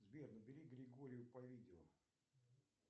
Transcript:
сбер набери григорию по видео